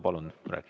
Palun!